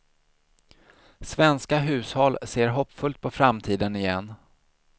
Svenska hushåll ser hoppfullt på framtiden igen.